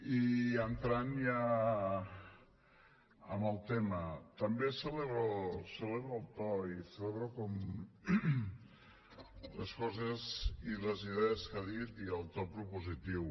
i entrant ja en el tema també celebro el to i celebro com les coses i les idees que ha dit i el to propositiu